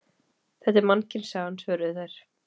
Þetta er Mannkynssagan, svöruðu þær.